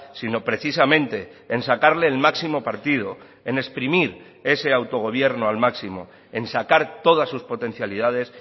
sino precisamente en sacarle el máximo partido en exprimir ese autogobierno al máximo en sacar todas sus potencialidades